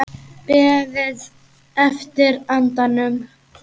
Beðið eftir andanum